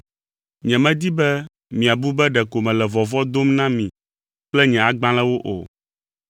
Nyemedi be miabu be ɖeko mele vɔvɔ̃ dom na mi kple nye agbalẽwo o.